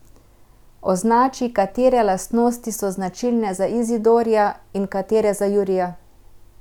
Označi, katere lastnosti so značilne za Izidorja in katere za Jurija.